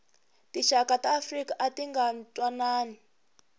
tixaka ta afrika atinga ntwanani